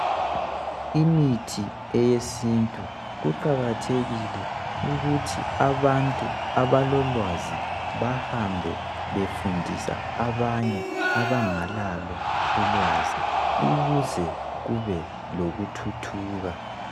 Imithi eyesintu kuqakathekile ukuthi abantu abalolwazi bahambe befundisa abanye abangalalo ulwazi ukuze kube lokuthuthuka.